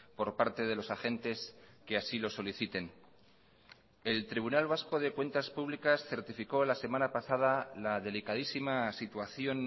por parte de los agentes que así lo soliciten el tribunal vasco de cuentas públicas certificó la semana pasada la delicadísima situación